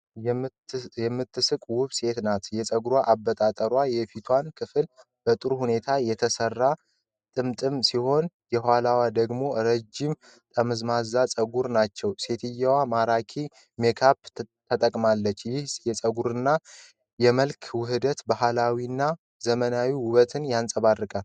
የምትስቅ ውብ ሴት ናት ። የፀጉር አበጣጠሯ የፊቷን ክፍል በጥሩ ሁኔታ የተሠራ ጥምጥም ሲሆን፣ የኋላው ደግሞ ረጃጅም ጠመዝማዛ ፀጉሮች ናቸው። ሴትየዋ ማራኪ ሜካፕ ተጠቅማለች። ይህ የፀጉርና የመልክ ውህደት ባህላዊና ዘመናዊ ውበትን ያንጸባርቃል።